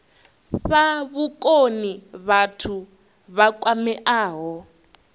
fha vhukoni vhathu vha kwameaho